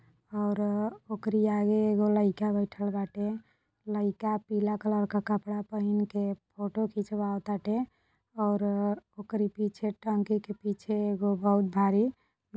और उकरी आगे एगो लईका बैठल बाटे। लईका पीला कलर के कपड़ा पहिन के फोटो खिचवावताटे और ओकरी पीछे टंकी के पीछे बहुत एगो भारी--